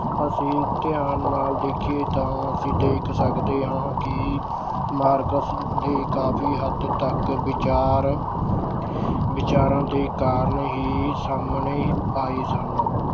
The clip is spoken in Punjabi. ਅਸੀਂ ਧਿਆਨ ਨਾਲ ਦੇਖੀਏ ਤਾਂ ਅਸੀਂ ਦੇਖ ਸਕਦੇ ਹਾਂ ਕਿ ਮਾਰਕਸ ਦੇ ਕਾਫੀ ਹੱਦ ਤੱਕ ਵਿਚਾਰ ਵਿਚਾਰਾਂ ਦੇ ਕਾਰਨ ਹੀ ਸਾਹਮਣੇ ਆਏ ਸਨ।